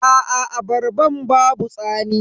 Aa abarban babu tsami.